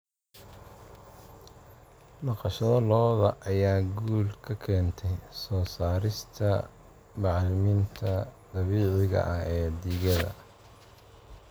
Dhaqashada lo'da lo'da ayaa guul ka keentay soo saarista bacriminta dabiiciga ah ee digada.